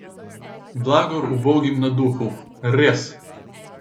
Blagor ubogim na duhu, res!